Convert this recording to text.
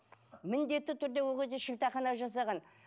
міндетті түрде ол кезде шілдехана жасаған